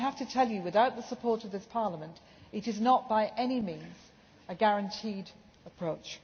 I have to tell you that, without the support of Parliament, it is not by any means a guaranteed approach.